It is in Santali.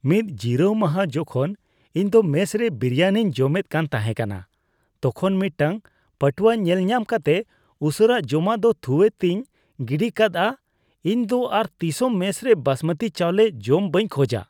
ᱢᱤᱫ ᱡᱤᱨᱟᱹᱣ ᱢᱟᱦᱟ ᱡᱚᱠᱷᱚᱱ ᱤᱧ ᱫᱚ ᱢᱮᱥ ᱨᱮ ᱵᱤᱨᱤᱭᱟᱱᱤᱧ ᱡᱚᱢᱮᱫ ᱠᱟᱱ ᱛᱟᱦᱮᱠᱟᱱᱟ, ᱛᱚᱠᱷᱚᱱ ᱢᱤᱫᱴᱟᱝ ᱯᱟᱴᱣᱟ ᱧᱮᱞ ᱧᱟᱢ ᱠᱟᱛᱮᱫ ᱩᱥᱟᱹᱨᱟ ᱡᱚᱢᱟᱜ ᱫᱚ ᱛᱷᱩᱣᱟᱛᱮᱧ ᱜᱤᱰᱤᱠᱟᱫᱼᱟ ᱾ ᱤᱧ ᱫᱚ ᱟᱨ ᱛᱤᱥ ᱦᱚᱸ ᱢᱮᱥ ᱨᱮ ᱵᱟᱥᱢᱚᱛᱤ ᱪᱟᱣᱞᱮ ᱡᱚᱢ ᱵᱟᱹᱧ ᱠᱷᱚᱡᱟ ᱾